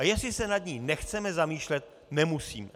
A jestli se nad ní nechceme zamýšlet, nemusíme.